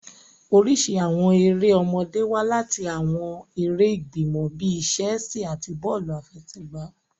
Oriṣi awọn èrè ọmọdé wa lati awọn èrè igbimọ bi chessi ati bọọlu afẹsẹgba.